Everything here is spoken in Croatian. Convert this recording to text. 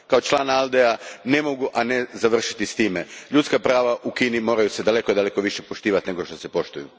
Kao član ALDE a ne mogu a ne završiti s time ljudska prava u Kini moraju se daleko više poštovati nego što se poštuju.